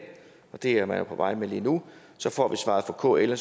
det er man jo på vej med lige nu så får vi svaret fra kl og